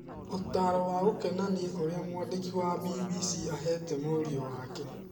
Ũtaaro wa gũkenania ũrĩa mwandĩki wa BBC aveete mũriũ wake